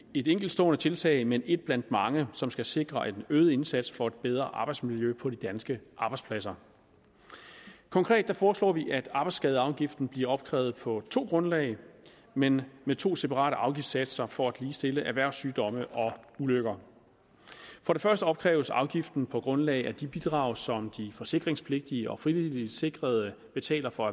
et enkeltstående tiltag men et blandt mange som skal sikre en øget indsats for et bedre arbejdsmiljø på de danske arbejdspladser konkret foreslår vi at arbejdsskadeafgiften bliver opkrævet på to grundlag men med to separate afgiftssatser for at ligestille erhvervssygdomme og ulykker for det første opkræves afgiften på grundlag af de bidrag som de forsikringspligtige og frivilligt sikrede betaler for